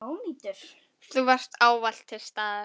Þú varst ávallt til staðar.